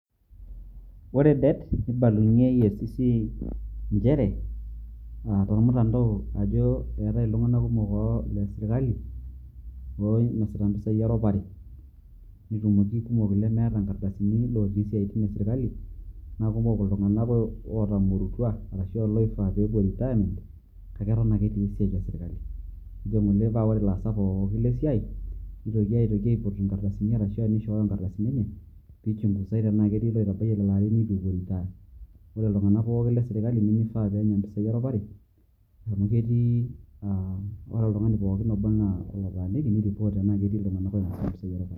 Ore det, nibalunye EACC injere, ah tormutandao ajo eetae iltung'anak kumok le sirkali, oinasita impisai eropare. Netumoki kumok ilemeeta inkardasini lotii siaitin esirkali. Na kumok iltung'anak otamorutua, arashu a loifaa pepuo retirement ,kake eton ake etii esiai esirkali. Nejo ng'ole ore laasak pookin le siai, netoki aitoki aiput ikardasini arashu ishooyo ikardasini enye, pichungusai tenaa ketii iloitabaitie lelo arin neitu epuo retire. Ore iltung'anak pooki le sirkali nimifaa peenya impisai eropare, amu ketii ah ore oltung'ani pookin oba enaa olotaaniki, niripot ena ketii iltung'anak oinasita mpisai eropare.